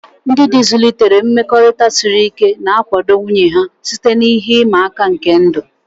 Ndị di zụlitere mmekọrịta siri ike, na-akwado nwunye ha site na ihe ịma aka nke ndụ.